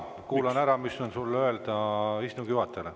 Ma kuulan ära, mis on sul öelda istungi juhatajale.